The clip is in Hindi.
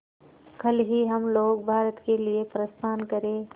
कल ही हम लोग भारत के लिए प्रस्थान करें